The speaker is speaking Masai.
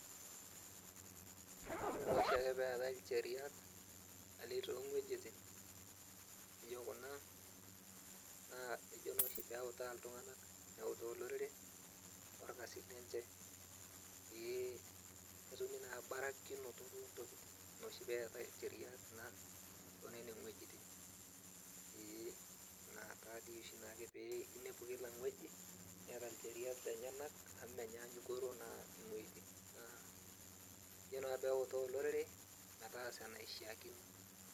Ore noshiake peetae ilcheriat, aleng tong'uejiting, nijo kuna, naa kijo noshi peutaa iltung'anak neutaa olorere, torkasin lenche. Pee etumi naa barakinoto ontokiting. Inoshi peetae incheriak na tonenewuejiting. Ee, na tadi oshi nake pe inepu kila ng'ueji, keeta ncheriak lenyanak amu menyaanyukoro naa ing'ueiting, naa ejo naa peutaa olorere, metaasa enaishaakino.